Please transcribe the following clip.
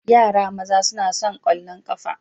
Yaran maza suna son ƙwallon ƙafa.